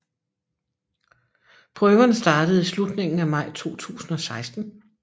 Prøverne startede i slutningen af maj 2016